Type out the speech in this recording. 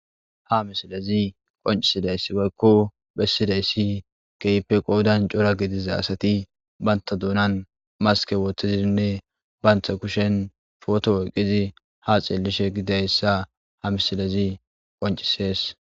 Ha misilezi qoncisidayssibaykko bessidayssi keypeqoodan cora gidiza asati banta duunan maske wooththizinne bayntha kushen foto woyqizi ha xeellishe gidayssa ha misilezi qoncisees.